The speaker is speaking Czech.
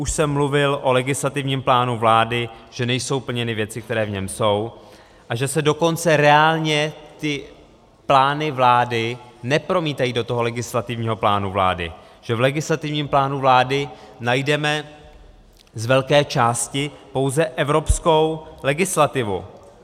Už jsem mluvil o legislativním plánu vlády, že nejsou plněny věci, které v něm jsou, a že se dokonce reálně ty plány vlády nepromítají do toho legislativního plánu vlády, že v legislativním plánu vlády najdeme z velké části pouze evropskou legislativu.